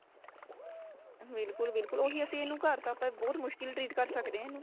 ਬਿਲਕੁਲ ਬਿਲਕੁਲ ਉਹੀ ਅਸੀਂ ਇਨੂੰ ਘਰ ਤਾਂ ਬਹੁਤ ਮੁਸ਼ਕਿਲ treat ਕ਼ਰ ਸਕਦੇ ਆ ਇਹਨੂੰ